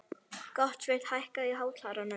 Gottsveinn, hækkaðu í hátalaranum.